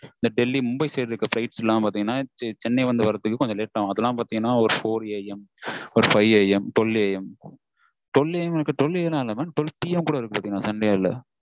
இந்த டெல்லி மும்பையில இருந்து வர flight எல்லாம் சென்னை வந்து வரத்துக்கு கொஞ்சம் late ஆகும் அதெல்லாம் பாத்தீங்கன்னா four AM five AM ஒரு twelve AM இல்ல twelve PM கூட இருக்கும் sunday ல